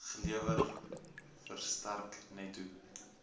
gelewer verstrek netto